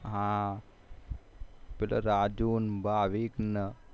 હા પેલા રાજુ ન ભાવિક ન હા